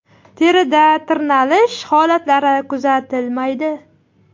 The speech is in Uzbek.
Terida tirnalish holatlari kuzatilmaydi.